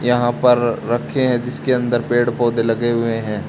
यहां पर रखे हैं जिसके अंदर पेड़ पौधे लगे हुए हैं।